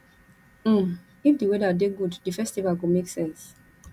um if di weather dey good di festival go make sense